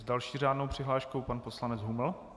S další řádnou přihláškou pan poslanec Huml.